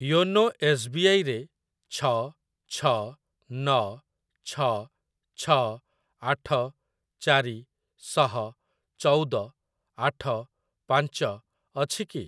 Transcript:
YONO S B I ରେ ଛ ଛ ନ ଛ ଛ ଆଠ ଚାରି ଶହ ଚଉଦ ଆଠ ପାଞ୍ଚ ଅଛି କି?